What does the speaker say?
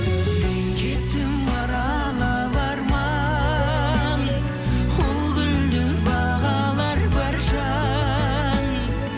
мен кеттім аралап арман ол гүлді бағалар бар жан